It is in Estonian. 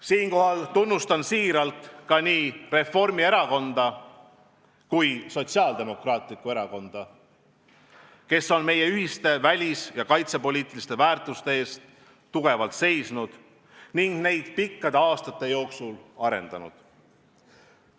Siinkohal tunnustan siiralt ka nii Reformierakonda kui Sotsiaaldemokraatlikku Erakonda, kes on meie ühiste välis- ja kaitsepoliitiliste väärtuste eest tugevalt seisnud ning neid pikkade aastate jooksul arendanud.